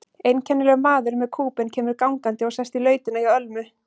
Einkennilegur maður með kúbein kemur gangandi og sest í lautina hjá Ölmu.